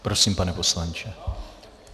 Prosím, pane poslanče.